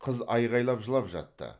қыз айқайлап жылап жатты